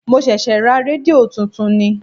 Mo ṣẹ̀ṣẹ̀ ra rédíò tuntun ni.